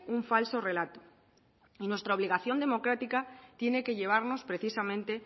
un falso relato y nuestra obligación democrática tiene que llevarnos precisamente